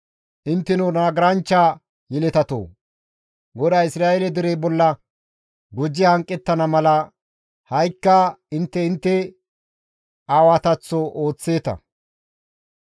Intteno nagaranchcha yeletatoo! GODAY Isra7eele dere bolla gujji hanqettana mala ha7ikka intte intte aawataththo ooththeeta.